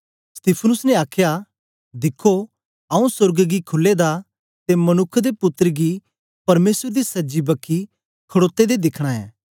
यीशु ने आखया दिखो आंऊँ सोर्ग गी खुले दा ते मनुक्ख दे पुत्तर गी परमेसर दी सज्जी बखी ते खडोते दे दिखना ऐं